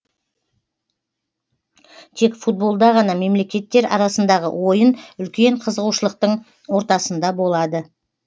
тек футболда ғана мемлекеттер арасындағы ойын үлкен қызығушылықтың ортасында болады